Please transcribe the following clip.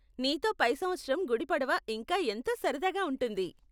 నీతో పై సంవత్సరం గుడి పడవ ఇంకా ఎంతో సరదాగా ఉంటుంది.